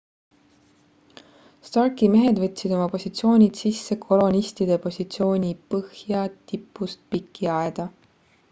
starki mehed võtsid oma positsioonid sisse kolonistide positsiooni põhjatipust piki aeda